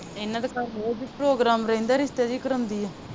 ਇਹਨਾਂ ਦੇ ਘਰ ਰੋਜ਼ ਈ program ਰਹਿੰਦਾ ਰਿਸ਼ਤੇ ਜੋ ਕਰਵਾਉਂਦੀ ਆ।